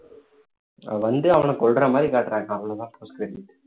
வந்து அவனை கொல்ற மாதிரி காட்டுறாங்க அவ்வளவுதான் post credit